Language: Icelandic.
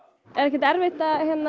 er ekkert erfitt að